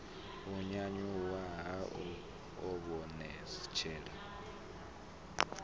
u nyanyuwa ha u ivhonetshela